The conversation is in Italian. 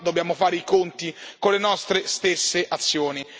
Ma prima dobbiamo fare i conti con le nostre stesse azioni.